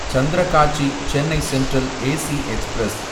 Santragachi Chennai Central AC express